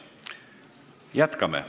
Jätkame.